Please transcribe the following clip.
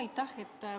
Aitäh!